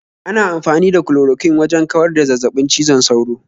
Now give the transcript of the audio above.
Ana amfani da Chloroquine wajan kawar da zazzabin cizon sauro